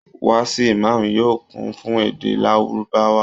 Wáàsì Ìmam yóò kún fún èdè lárúbáwá